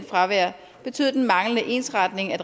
fravær betød den manglende ensretning af